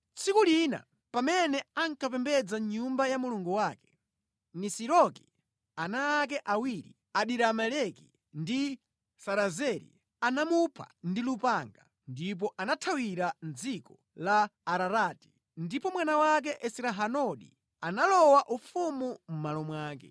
Tsiku lina, pamene ankapembedza mʼnyumba ya mulungu wake, Nisiroki, ana ake awiri, Adirameleki ndi Sarezeri anamupha ndi lupanga, ndipo anathawira mʼdziko la Ararati. Ndipo mwana wake Esrahadoni analowa ufumu mʼmalo mwake.